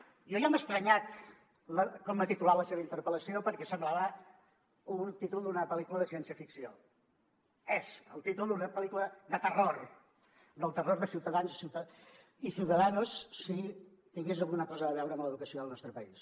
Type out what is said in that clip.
a mi ja m’ha estranyat com ha titulat la seva interpel·lació perquè semblava un títol d’una pel·lícula de ciència ficció és el títol d’una pel·lícula de terror del terror de ciutadans i ciudadanos si tingués alguna cosa a veure amb l’educació al nostre país